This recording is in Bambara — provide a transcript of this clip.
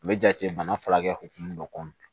U bɛ jate bana furakɛ